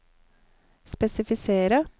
spesifisere